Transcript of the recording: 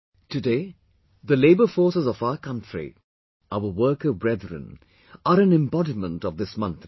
Today, the labour force of our country, our worker brethren are an embodiment of this mantra